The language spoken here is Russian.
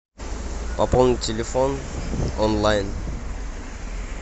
пополнить телефон онлайн